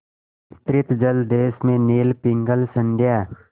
विस्तृत जलदेश में नील पिंगल संध्या